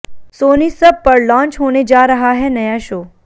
Soni SAB पर launch होने जा रहा है नया शो